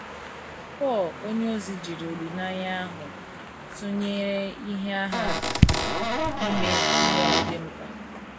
Pọl onyeozi jiri olileanya ahụ tụnyere ihe agha ime mmụọ dị mkpa.